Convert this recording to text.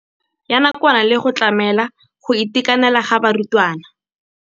Ya nakwana le go tlamela go itekanela ga barutwana.